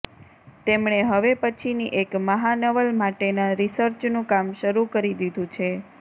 તેમણે હવે પછીની એક મહાનવલ માટેના રિસર્ચનું કામ શરૂ કરી દીધું છે